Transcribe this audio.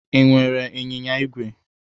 I nwere ịnyịnya ígwè?